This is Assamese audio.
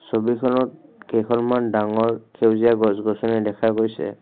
ছবিখনত কেইখনমান ডাঙৰ সেউজীয়া গছ গছনি দেখা গৈছে।